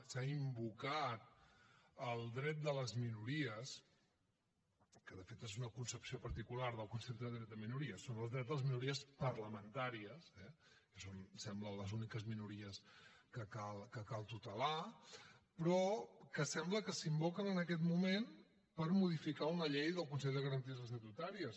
s’ha invocat el dret de les minories que de fet és una concepció particular del concepte dret de minories són els drets de les minories parlamentàries eh que són em sembla les úniques minories que cal tutelar però que sembla que s’invoquen en aquest moment per modificar una llei del consell de garanties estatutàries